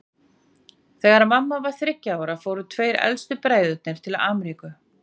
Þegar mamma var þriggja ára fóru tveir elstu bræðurnir til Ameríku.